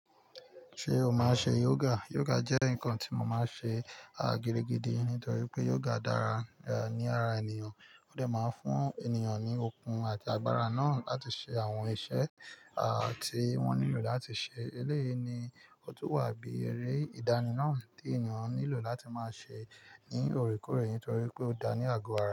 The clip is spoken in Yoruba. Ṣé o máa ṣe yoga? Yoga jẹ́ nǹkan tí mo máa ṣe, gidigidi nítorí pé yoga dára, ní ara ènìyàn. Ó dẹ̀ máa ń fún ènìyàn ní okun àti agbára náà láti ṣe àwọn iṣẹ́, tí wọ́n nílò láti ṣe. Eléyii ni, ó tún wà bí eré ìdání náà tí èeyan nílò láti máa ṣe ní òorékooré nítorí pé ó dá ní àgọ́ ara.